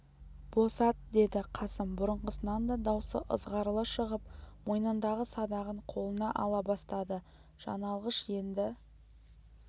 босат деді қасым бұрынғысынан да даусы ызғарлы шығып мойынындағы садағын қолына ала бастады жан алғыш енді